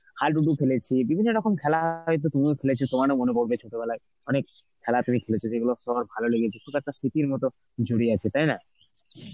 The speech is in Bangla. হাডুডু খেলেছি, বিভিন্ন রকম খেলা হয়তো তুমিও খেলেছ তোমারও মনে পড়বে ছোটবেলায় অনেক খেলা তুমি খেলেছ যেগুলো সবার ভালো লেগেছে, খুব একটা স্মৃতির মত জড়িয়ে আছে তাই না?